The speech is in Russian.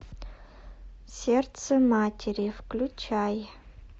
сердце матери включай